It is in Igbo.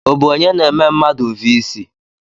Ọ bụ onye na-eme mmadụ vii sij?